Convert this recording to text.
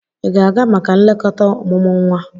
Ị ga-aga maka nlekọta ọmụmụ nwa?